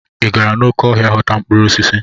Ị gara n'oké ọhịa ghọta mkpụrụ osisi?